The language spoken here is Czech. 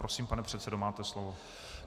Prosím, pane předsedo, máte slovo.